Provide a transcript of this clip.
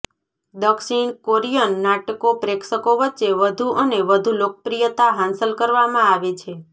દક્ષિણ કોરિયન નાટકો પ્રેક્ષકો વચ્ચે વધુ અને વધુ લોકપ્રિયતા હાંસલ કરવામાં આવે છે